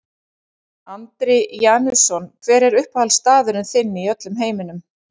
Andri Janusson Hver er uppáhaldsstaðurinn þinn í öllum heiminum?